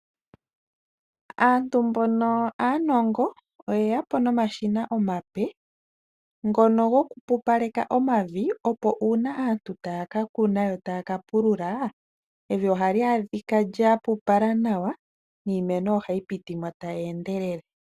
Aantu mboka aanongo, oye ya po nomashina omape, ngoka gokupupaleka omavi, opo uuna aantu taya ka kuna nenge taya ka pulula, evi ohali adhika lya pupala nawa, niimeno ohayi piti mo tayi endelele.